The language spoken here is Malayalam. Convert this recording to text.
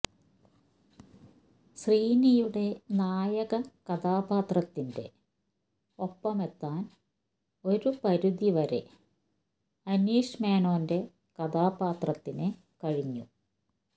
ശ്രീനിയുടെ നായക കഥാപാത്രത്തിന്റെ ഒപ്പമെത്താൻ ഒരു പരിധി വരെ അനീഷ് മേനോന്റെ കഥാപാത്രത്തിന് കഴിഞ്ഞു